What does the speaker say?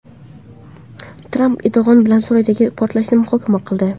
Tramp Erdo‘g‘on bilan Suriyadagi portlashni muhokama qildi.